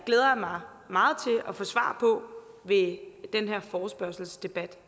mig meget til at få svar på ved denne forespørgselsdebat